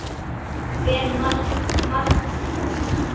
Ber margt til þess.